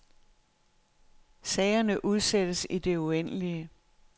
Sagerne udsættes i det uendelige.